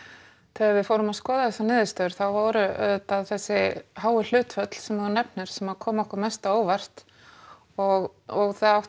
þegar við fórum að skoða þessar niðurstöður þá voru auðvitað þessi háu hlutföll sem þú nefnir sem komu okkur mest á óvart og það átti